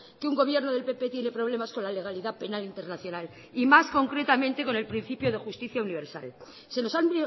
que un gobierno del pp tiene problemas con la legalidad penal internacional y más concretamente con el principio de justicia universal se nos han